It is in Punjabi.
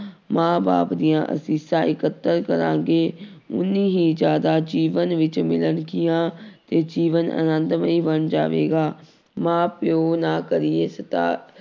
ਮਾਂ ਬਾਪ ਦੀਆਂ ਅਸ਼ੀਸ਼ਾਂ ਇਕੱਤਰ ਕਰਾਂਗੇ ਓਨੀ ਹੀ ਜ਼ਿਆਦਾ ਜੀਵਨ ਵਿੱਚ ਮਿਲਣਗੀਆਂ ਅਤੇ ਜੀਵਨ ਆਨੰਦਮਈ ਬਣ ਜਾਵੇਗਾ, ਮਾਂ ਪਿਓ ਨਾ ਕਰੀਏ